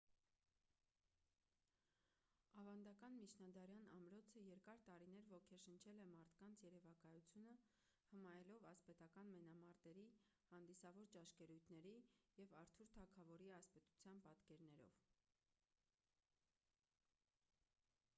ավանդական միջնադարյան ամրոցը երկար տարիներ ոգեշնչել է մարդկանց երևակայությունը հմայելով ասպետական մենամարտերի հանդիսավոր ճաշկերույթների և արթուր թագավորի ասպետության պատկերներով